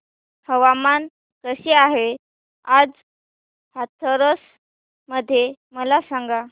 हवामान कसे आहे आज हाथरस मध्ये मला सांगा